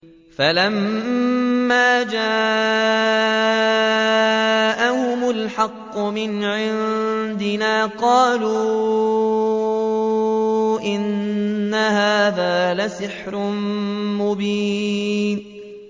فَلَمَّا جَاءَهُمُ الْحَقُّ مِنْ عِندِنَا قَالُوا إِنَّ هَٰذَا لَسِحْرٌ مُّبِينٌ